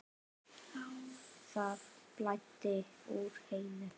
Það blæddi úr Heiðu.